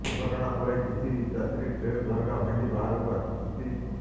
ଦୁର୍ଘଟଣା ପରେ କିଛି ଯାତ୍ରୀ ଟ୍ରେନ ଝରକା ଭାଙ୍ଗି ବାହାରକୁ ଆସିଛନ୍ତି